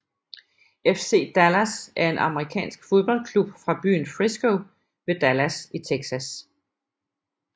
FC Dallas er en amerikansk fodboldklub fra byen Frisco ved Dallas i Texas